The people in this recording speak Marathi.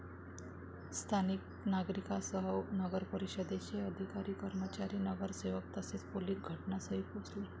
स्थानिक नागरिकांसह नगरपरिषदेचे अधिकारी, कर्मचारी, नगरसेवक तसेच पोलीस घटनास्थळी पोहोचले.